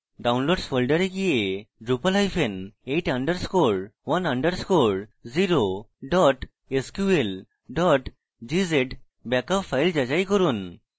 downloads folder go drupal8 _ 1 _ 0 sql gz backup file যাচাই করুন